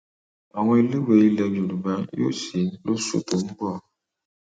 àwọn iléèwé ilẹ yorùbá yóò sì lóṣù tó ń bọ